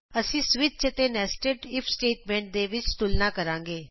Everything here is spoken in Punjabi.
ਅਸੀਂ ਸਵਿਚ ਅਤੇ ਨੈਸਟਡ ਇਫ ਸਟੇਟਮੈਂਟ ਦੇ ਵਿਚ ਤੁਲਨਾ ਕਰਾਂਗੇ